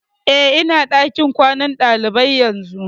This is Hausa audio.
Eh, ina ɗakin kwanan ɗalibai yanzu